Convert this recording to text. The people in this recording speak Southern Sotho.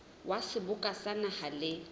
wa seboka sa naha le